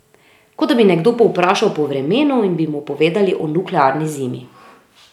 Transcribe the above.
Kot da bi nekdo povprašal po vremenu in bi mu povedali o nuklearni zimi.